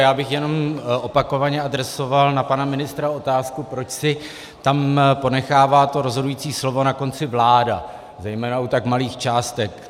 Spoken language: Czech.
Já bych jenom opakovaně adresoval na pana ministra otázku, proč si tam ponechává to rozhodující slovo na konci vláda, zejména u tak malých částek.